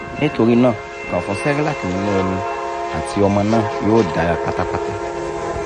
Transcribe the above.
nitorinaa kan fun cerelac ninu omi ati ọmọ naa yoo dara patapata